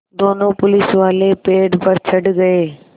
दोनों पुलिसवाले पेड़ पर चढ़ गए